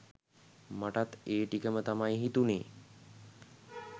මටත් ඒ ටිකම තමයි හිතුනේ